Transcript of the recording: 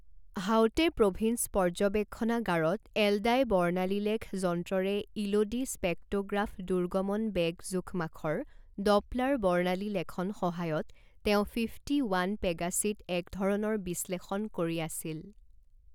হাউতে প্ৰভিন্স পৰ্যবেক্ষণাগাৰত এল ডাই বৰ্ণালীলেখ যন্ত্ৰৰে ইলোডি স্পেক্টোগ্ৰাফ দুৰ্গমনবেগ জোখমাখৰ ডপলাৰ বৰ্ণালীলেখন সহায়ত তেওঁ ফিফটি ওৱান পেগাচিত একধৰণৰ বিশ্লেষণ কৰি আছিল।